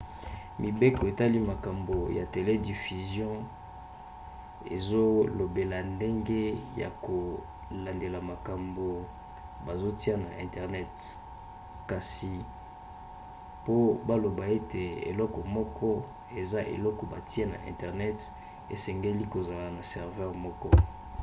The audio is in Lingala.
mibeko etali makambo ya telediffusion ezolobela ndenge ya kolandela makambo bazotia na internet kasi po baloba ete eloko moko eza eloko batie na internet esengeli kozala na serveur moko